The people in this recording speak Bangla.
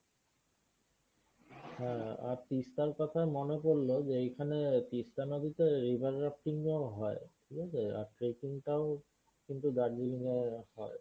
হ্যাঁ। আর তিস্তার কথায় মনে পড়ল যে এইখানে তিস্তা নদীতে river rafting ও হয়। ঠিকাছে আর tracking টাও কিন্তু দার্জিলিং এ হয়।